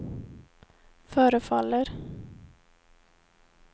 förefaller